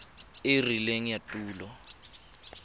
e e rileng ya tulo